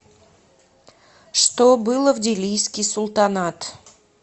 что было в делийский султанат